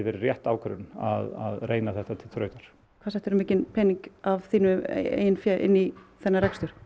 rétt ákvörðun að reyna þetta til þrautar hvað settir þú mikinn pening af þínu eigin fé inn í þennan rekstur